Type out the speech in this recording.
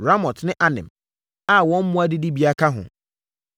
Ramot ne Anem a wɔn mmoa adidibea ka ho.